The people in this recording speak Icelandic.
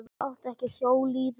Átti ekki að hjóla í þá.